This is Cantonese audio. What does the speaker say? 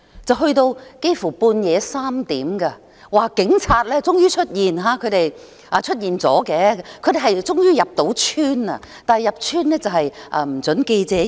整件事幾乎直至半夜3點，據說警察終於出現，終於成功入村，但警察入村後卻不准記者進入。